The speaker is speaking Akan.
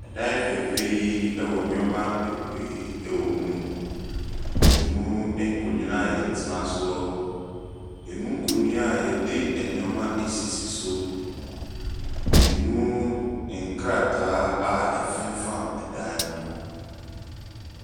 Dan fɛɛfɛɛ yi wɔ nneɛma bebree wɔ mu. Ɛmu nkonnwa a wɔtena soɔ, ɛmu nkonnwa a wɔde nneɛma asisi so, ɛmu nkrataa a ɛfemfam dan ho.